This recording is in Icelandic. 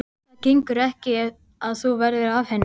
Það gengur ekki að þú verðir af henni.